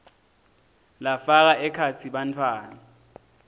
lafaka ekhatsi bantfwana